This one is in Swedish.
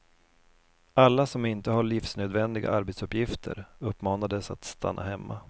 Alla som inte har livsnödvändiga arbetsuppgifter uppmanades att stanna hemma.